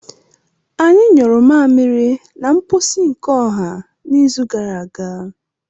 Anyị nyuru mmamịrị na mposi nke ọha n'izu gara aga.